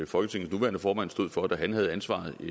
folketingets nuværende formand stod for da han havde ansvaret i